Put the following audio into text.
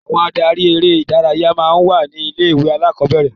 Àwọn adarí eré-idárayá máa ń wà ní ilé-ìwé alákọ̀ọ́bẹ̀rẹ̀.